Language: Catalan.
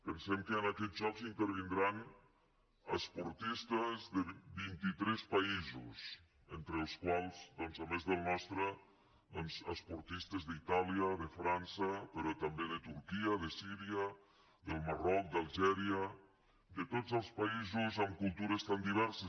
pensem que en aquests jocs intervindran esportistes de vintitres països entre els quals a més del nostre doncs esportistes d’itàlia de frança però també de turquia de síria del marroc d’algèria de tots els paï sos amb cultures tan diverses